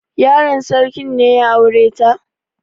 Yaron sarki ne ya aure ta?